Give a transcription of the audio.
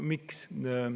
Miks?